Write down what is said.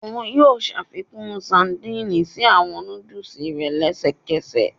Oun yoo ṣafikun sadìnìnnì si awọn nudulu rẹ lẹsẹkẹsẹ